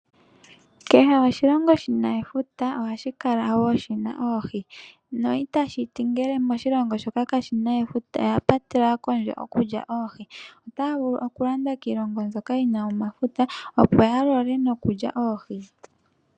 Kehe oshilongo shina efuta ohashi kala woo shina oohi, no itashiti ngele moshilongo moka kamuna efuta oya patelwa kondje okulya oohi. Otaya vulu okulanda kiilongo mbyono yina omafuta opo yalole nokulya oohi.